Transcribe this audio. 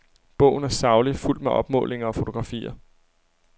Bogen er saglig, fuldt med opmålinger og fotografier.